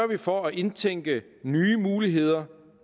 vi for at indtænke nye muligheder